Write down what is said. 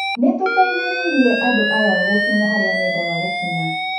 " Nĩ-tũteithĩrĩirie andũ aya gũkinya harĩa mendaga gũkinya.